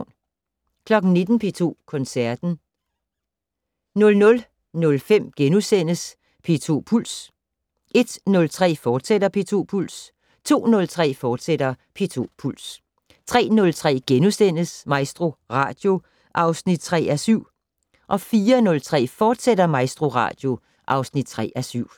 19:00: P2 Koncerten 00:05: P2 Puls * 01:03: P2 Puls, fortsat 02:03: P2 Puls, fortsat 03:03: MaestroRadio (3:7)* 04:03: MaestroRadio, fortsat (3:7)